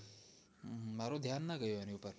મારુ ધ્યાન ન ગયું એની પર